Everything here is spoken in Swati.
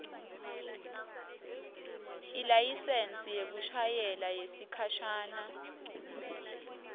ilayisensi yekushayela yesikhashana